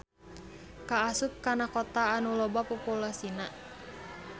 Kaasup kana kota anu loba populasina.